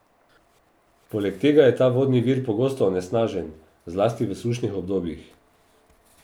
Poleg tega je ta vodni vir pogosto onesnažen, zlasti v sušnih obdobjih.